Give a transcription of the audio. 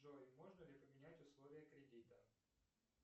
джой можно ли поменять условия кредита